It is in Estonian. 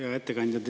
Hea ettekandja!